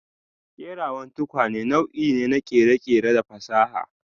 Kerawan tukwane nau'i ne na kere-kere da fasaha.